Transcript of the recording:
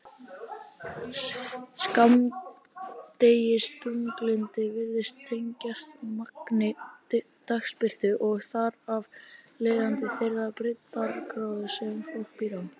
Skammdegisþunglyndi virðist tengjast magni dagsbirtu og þar af leiðandi þeirri breiddargráðu sem fólk býr á.